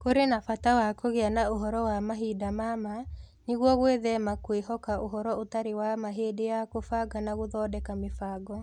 Kũrĩ na bata wa kũgĩa na ũhoro wa mahinda ma ma, nĩguo gwĩthema kwĩhoka ũhoro ũtarĩ wa ma hĩndĩ ya kũbanga na gũthondeka mĩbango.